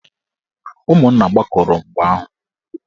Ụmụnna gbakọrọ mgbe ahụ.